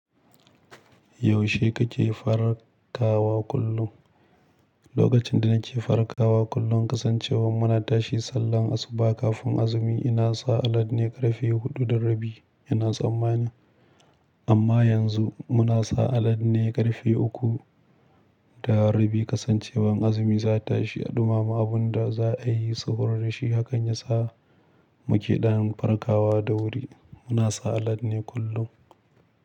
Yaushe kake farkawa kullum? Lokacin da nake farkawa kullum kasancewar muna tashi sallar asuba kafin azumi ina sa alarm ne ƙarfe huɗu da rabi ina tsammani. Amma yanzu muna sa alarm ne ƙarfe uku da rabi kasancewar azumi za ta tashi a ɗumama abun da za a yi sufuri da shi. Hak an yi sa mu ƙi ɗan farkawa da wuri muna sa alarm ne kullum.